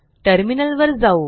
टर्मिनलवर जाऊ